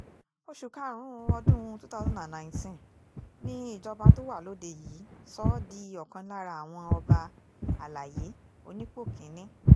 oṣù karùn-ún ọdún two thousand and nineteen ni ìjọba tó wà lóde yìí sọ ọ́ di ọ̀kan lára àwọn ọba àlàyé onípò kì-ín-ní